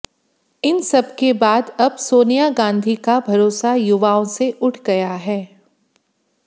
इन सबके बाद अब सोनिया गांधी का भरोसा युवाओं से उठ गया है